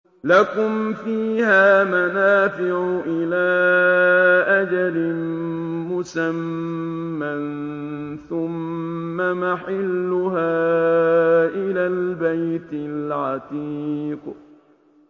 لَكُمْ فِيهَا مَنَافِعُ إِلَىٰ أَجَلٍ مُّسَمًّى ثُمَّ مَحِلُّهَا إِلَى الْبَيْتِ الْعَتِيقِ